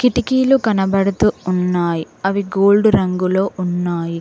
కిటికీలు కనబడుతూ ఉన్నాయి అవి గోల్డ్ రంగులో ఉన్నాయి.